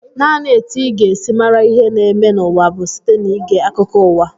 Naanị etu ị ga-esi mara ihe na-eme n'ụwa bụ site n'ige akụkọ uwa